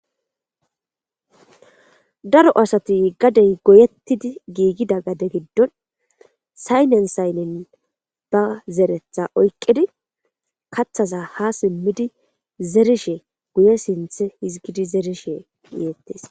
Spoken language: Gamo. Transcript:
daro asati gadey goyettidi giigida gade giddon saynen saynnen ba zeretha oyqidi kathasa ha simmidi zerishe guye sinthe hizgidi zerishe eyettes